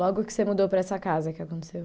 Logo que você mudou para essa casa, o que aconteceu?